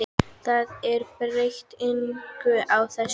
Það er breytir engu úr þessu.